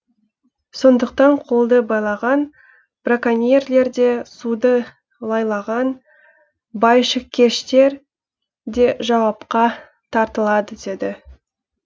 сондықтан қолды байлаған браконьерлер де суды лайлаған байшыкештер де жауапқа тартылады деді